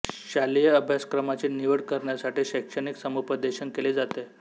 शालेय अभ्यासक्रमाची निवड करण्यासाठी शैक्षणिक समुपदेशन केले जाते